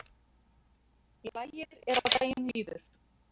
Lægir er á daginn líður